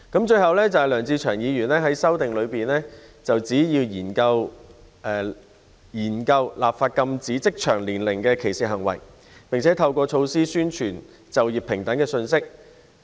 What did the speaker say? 最後，梁志祥議員在修正案中建議政府研究立法禁止職場年齡歧視行為，並透過各種措施，宣傳就業平等的信息。